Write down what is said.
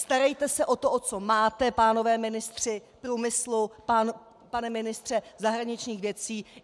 Starejte se o to, o co máte, pánové ministři - průmyslu, pane ministře zahraničních věcí!